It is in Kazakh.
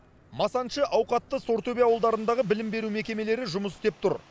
масаншы ауқатты сортөбе ауылдарындағы білім беру мекемелері жұмыс істеп тұр